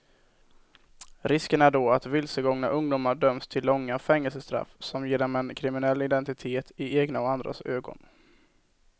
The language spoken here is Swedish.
Risken är då att vilsegångna ungdomar döms till långa fängelsestraff som ger dem en kriminell identitet i egna och andras ögon.